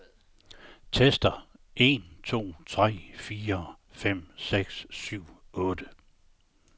Tester en to tre fire fem seks syv otte.